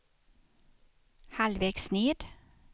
halvvägs ned